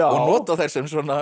nota þær sem